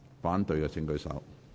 反對的請舉手。